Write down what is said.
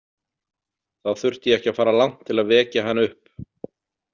Þá þurfti ég ekki að fara langt til að vekja hann upp.